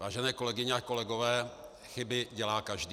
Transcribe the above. Vážené kolegyně a kolegové, chyby dělá každý.